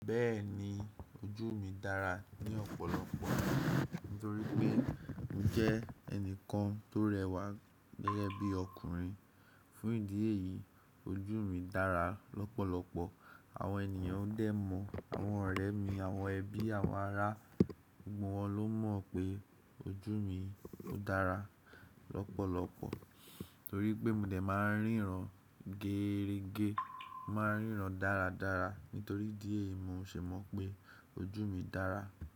Bẹ́ẹ̀ni ojú mi dára ní ọ̀pọ̀lọpọ̀ nítorí pé n jẹ́ ẹnìkan tó rẹwà gẹ́gẹ́ bí ọkùnrin. Fún ìdí èyí ojú mi dára lọ́pọ̀lọpọ̀. Àwọn ènìyàn dẹ̀ mọ̀, àwọn ọ̀rẹ́ mi, àwọn ẹbí, àwọn ará, gbogbo wọn ló mọ̀ pé ojú mi dára lọ́pọ̀lọpọ̀ torí pé mo dẹ̀ máa ń ríran gééregé. Mo máa ń ríran dáradára. Nítorí idi eyi mo ṣè mọ̀ pé ojú mi dára.